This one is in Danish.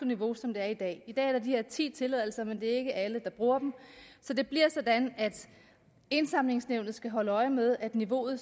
niveau som det er i dag i dag er der de her ti tilladelser men det er ikke alle der bruger dem så det bliver sådan at indsamlingsnævnet skal holde øje med at niveauet